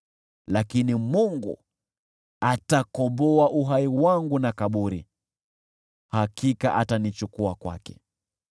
Lakini Mungu atakomboa uhai wangu na kaburi, hakika atanichukua kwake.